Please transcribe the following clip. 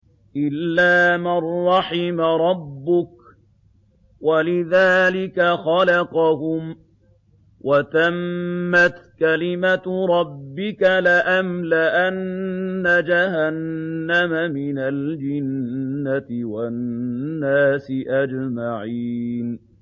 إِلَّا مَن رَّحِمَ رَبُّكَ ۚ وَلِذَٰلِكَ خَلَقَهُمْ ۗ وَتَمَّتْ كَلِمَةُ رَبِّكَ لَأَمْلَأَنَّ جَهَنَّمَ مِنَ الْجِنَّةِ وَالنَّاسِ أَجْمَعِينَ